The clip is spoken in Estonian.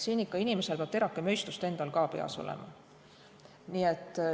Inimesel peab terake mõistust endal ikka ka peas olema.